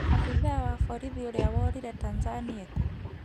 Abithaa wa borithi ũrĩa worire Tanzania ekũ